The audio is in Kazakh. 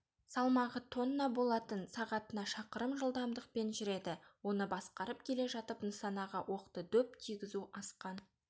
салмағы тонна болатын сағатына шақырым жылдамдықпен жүреді оны басқарып келе жатып нысанаға оқты дөп тигізу асқан